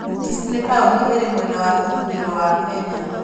Kisii nĩ taũni ĩrĩ mwena wa ithũĩro wa Kenya.